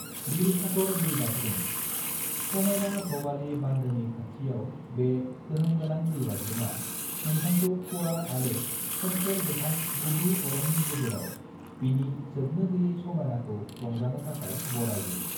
गिरिसागर दैबाज्रुम: समायना भवाली बानदोनि खाथियाव बे गोहोमगोनां दैबाज्रुमा नौथांखौ खुवा आरो सोमखोर गोथां गुदु अरननि गेजेराव बिनि जोबनो गैयै समायनाखौ रंजानो थाखाय बराइयो।